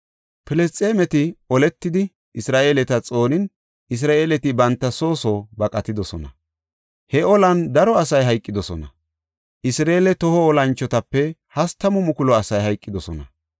Filisxeemeti oletidi, Isra7eeleta xoonin Isra7eeleti banta soo soo baqatidosona. He olan daro asay hayqidosona; Isra7eele toho olanchotape hastamu mukulu asay hayqidosona.